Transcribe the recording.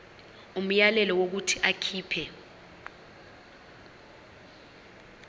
umyalelo wokuthi akhipha